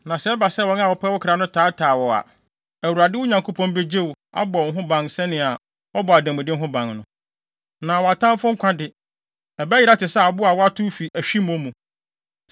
Na sɛ ɛba sɛ wɔn a wɔpɛ wo kra no taataa wo so a, Awurade, wo Nyankopɔn, begye wo, abɔ wo ho ban sɛnea wɔbɔ ademude ho ban no. Na wʼatamfo nkwa de, ɛbɛyera te sɛ abo a wɔatow fi ahwimmo mu.